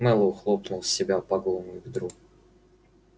мэллоу хлопнул себя по голому бедру